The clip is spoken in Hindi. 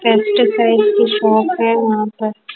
कैपिटल टाइप की शॉप है वहां पर--